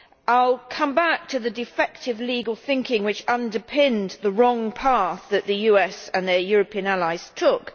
I will come back to the defective legal thinking which underpinned the wrong path that the US and the European allies took.